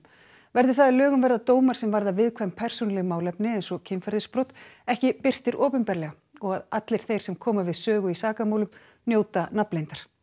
verði það að lögum verða dómar sem varða viðkvæm persónuleg málefni eins og kynferðisbrot ekki birtir opinberlega og að allir þeir sem koma við sögu í sakamálum njóti nafnleyndar